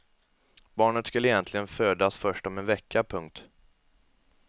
Barnet skulle egentligen födas först om en vecka. punkt